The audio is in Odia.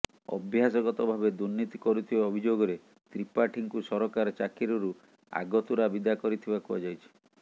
ଅଭ୍ୟାସଗତ ଭାବେ ଦୁର୍ନୀତି କରୁଥିବା ଅଭିେଯାଗରେ ତ୍ରିପାଠୀଙ୍କୁ ସରକାର ଚାକିରିରୁ ଆଗତୁରା ବିଦା କରିଥିବା କୁହାଯାଇଛି